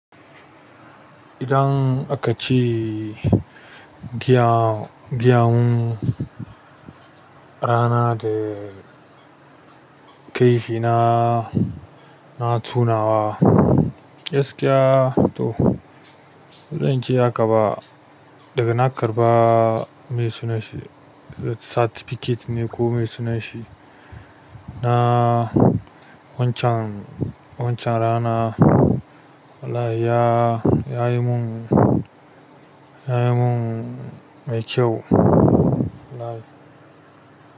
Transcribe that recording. Idan aka ce gya-gyan rana da kai shi na, na tunawa gaskiya to, idan kin yaka ba daga na karɓa mai sunan shi certificate ne ko mai sunan shi, na wancan, wancan rana wallahi ya, ya yi mun, ya yi mun mai kyau wallahi.